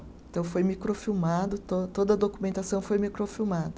Então, foi microfilmado, to toda a documentação foi microfilmada.